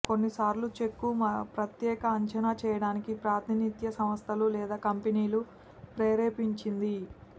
కొన్నిసార్లు చెక్కు ప్రత్యేక అంచనా చేయడానికి ప్రాతినిధ్య సంస్థలు లేదా కంపెనీలు ప్రేరేపించింది